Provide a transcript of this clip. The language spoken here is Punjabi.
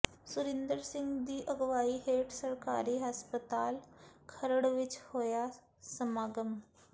ਸੁਰਿੰਦਰ ਸਿੰਘ ਦੀ ਅਗਵਾਈ ਹੇਠ ਸਰਕਾਰੀ ਹਸਪਤਾਲ ਖਰੜ ਵਿੱਚ ਹੋਇਆ ਸਮਾਗਮ